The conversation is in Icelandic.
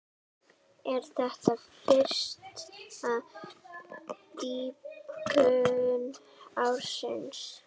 Er þetta fyrsta dýpkun ársins.